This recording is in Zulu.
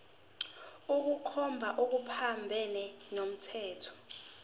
ukukhomba okuphambene nomthetho